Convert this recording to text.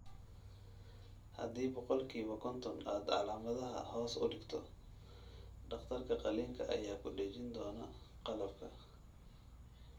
Haddii boqolkiiba konton aad calaamadaha hoos u dhigto, dhakhtarka qalliinka ayaa ku dhejin doona qalabka.